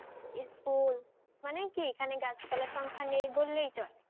এই school মানে কি এখানে গাছ পালা সংখ্যা নেই বললে চলে